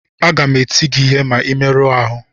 Aga m eti gị ihe ma ị merụọ ahụ